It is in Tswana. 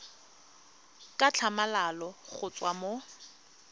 ka tlhamalalo go tswa mo